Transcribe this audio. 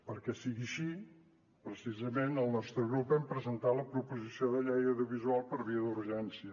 perquè sigui així precisament el nostre grup hem presentat la proposició de llei audiovisual per via d’urgència